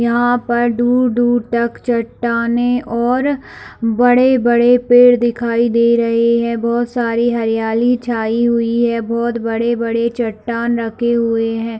यहाँ पर दूर - दूर तक चट्टानें और बड़े - बड़े पेड़ दिखाई दे रहे है बहुत सारी हरियाली छाई हुई है बहुत बड़े - बड़े चट्टान रखे हुए है।